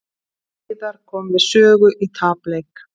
Heiðar kom við sögu í tapleik